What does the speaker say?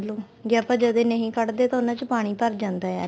ਲਓ ਜੇ ਆਪਾਂ ਜਦੇ ਨਹੀਂ ਕੱਡਦੇ ਤਾਂ ਉਹਨਾ ਚ ਪਾਣੀ ਭਰ ਜਾਂਦਾ ਏ